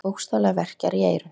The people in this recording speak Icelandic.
Mann bókstaflega verkjar í eyrun.